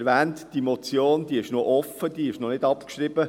Wie erwähnt, ist diese Motion noch offen, sie ist noch nicht abgeschrieben.